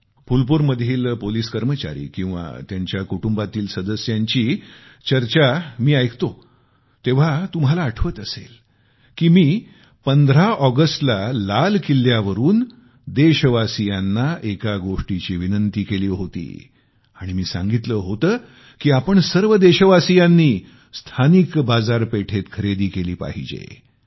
जेव्हा मी फुलपूरमधील पोलिस कर्मचारी किंवा त्यांच्या कुटुंबातील सदस्यांची चर्चा ऐकतो तेव्हा तुम्हाला आठवत असेल की मी 15 ऑगस्टला लाल किल्ल्यावरून देशवासीयांना एका गोष्टीची विनंती केली होती आणि मी सांगितले की आपण सर्व देशवासीयांनी स्थानिक बाजारपेठेत खरेदी केली पाहिजे